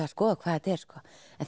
að skoða hvað þetta er en